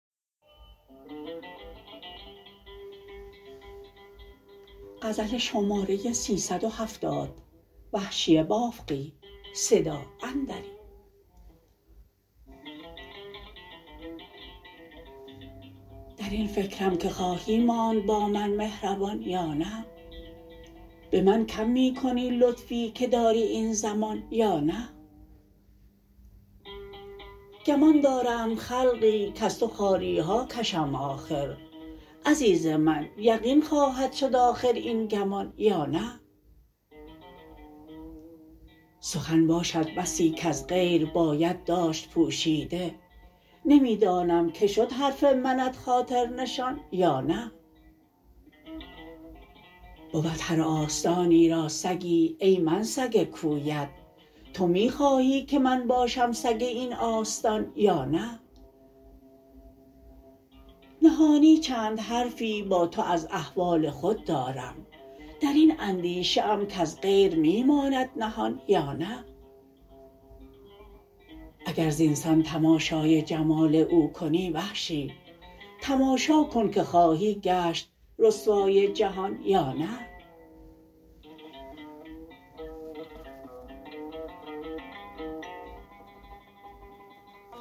در این فکرم که خواهی ماند با من مهربان یا نه به من کم می کنی لطفی که داری این زمان یا نه گمان دارند خلقی کز تو خواریها کشم آخر عزیز من یقین خواهد شد آخر این گمان یا نه سخن باشد بسی کز غیر باید داشت پوشیده نمی دانم که شد حرف منت خاطرنشان یا نه بود هر آستانی را سگی ای من سگ کویت تو می خواهی که من باشم سگ این آستان یا نه نهانی چند حرفی با تو از احوال خود دارم در این اندیشه ام کز غیر می ماند نهان یا نه اگر زینسان تماشای جمال او کنی وحشی تماشا کن که خواهی گشت رسوای جهان یا نه